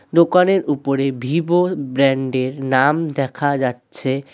দোকানের উপরে Vivo brand এর নাম দেখা যাচ্ছে।